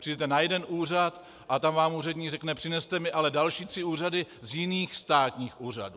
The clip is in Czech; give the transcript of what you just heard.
Přijdete na jeden úřad a tam vám úředník řekne: přineste mi ale další tři doklady z jiných státních úřadů.